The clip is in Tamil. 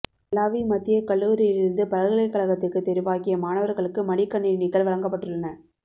மல்லாவி மத்திய கல்லூரியிலிருந்து பல்கலை கழகத்திற்கு தெரிவாகிய மாணவர்களுக்கு மடிக்கணிணிகள் வழங்கப்பட்டுள்ளன